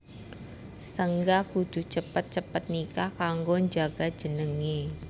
Saéngga kudu cepet cepet nikah kanggo njaga jenengé